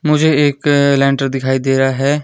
मुझे एक लेंटर दिखाई दे रहा है।